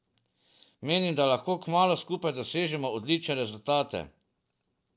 Menim, da lahko kmalu skupaj dosežemo odlične rezultate.